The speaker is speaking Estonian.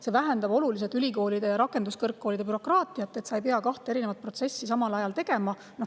See vähendab oluliselt ülikoolide ja rakenduskõrgkoolide bürokraatiat, et ei pea kahte protsessi samal ajal tegema.